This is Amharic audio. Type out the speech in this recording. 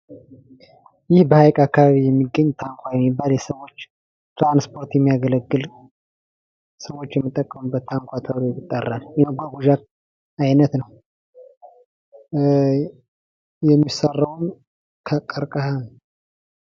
ይህ በሀይቅ አካባቢ የሚገኝ ታንኳ የሚባል የሰዎች ትራንስፖርት የሚያገለግል ሰዎች የሚጠቀሙበት ታንኳ ተብሎ ይጠራል። የመጓጓዣ አይነት ነዉ። የሚሰራዉም ከቀርቀሀ ነዉ።